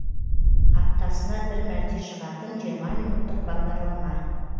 аптасына бір мәрте шығатын жиырма минуттық бағдарлама